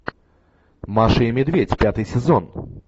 маша и медведь пятый сезон